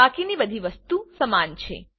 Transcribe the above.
બાકીની બધી વસ્તુ સમાન છે